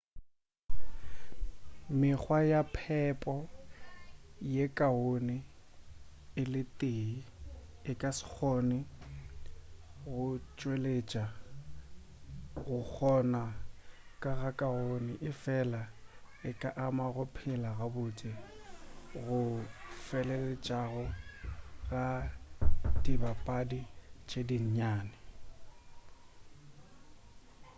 mekgwa ya phepo ye kaone e le tee e ka se kgone go tšweletša go kgona go go kaone efela e ka ama go phela gabotse go go feleletšego ga dibapadi tše di nnyane